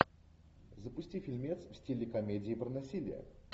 запусти фильмец в стиле комедии про насилие